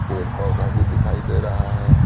पेड़ -पौधा भी दिखाई दे रहा है।